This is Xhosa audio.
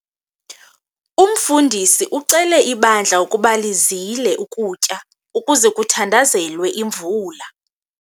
Umfundisi ucele ibandla ukuba lizile ukutya ukuze kuthandazelwe imvula.